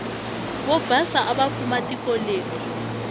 vobhasa avafuma tikoleri